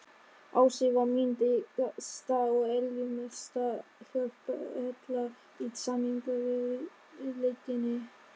Ási var mín dyggasta og eljusamasta hjálparhella í sameiningarviðleitninni.